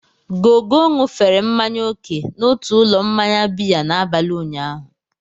Gogo ṅụfere mmanya oke n'otu ụlọ mmanya biya n'abalị ụnyaahụ.